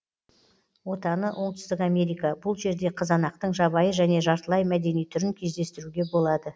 отаны оңтүстік америка бұл жерде қызанақтың жабайы және жартылай мәдени түрін кездестіруге болады